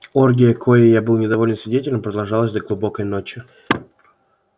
оргия коей я был недовольный свидетелем продолжалась до глубокой ночи